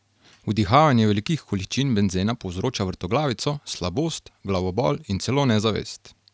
Vdihavanje velikih količin benzena povzroča vrtoglavico, slabost, glavobol in celo nezavest.